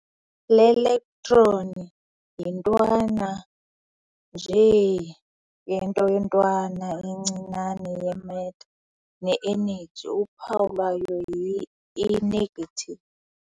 Ielectron yintwana nje yento ntwana encinane ye-matter ne-energy. uphawu lwayo yi-e−.